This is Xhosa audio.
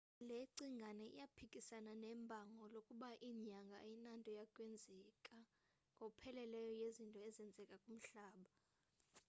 le cingane iyaphikasana nebango lokuba inyanga ayinanto yakwenza ngokupheleleyo nezinto ezenzeka kumhlaba